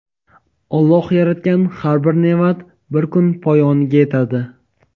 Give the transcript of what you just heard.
Alloh yaratgan har bir ne’mat bir kun poyoniga yetadi.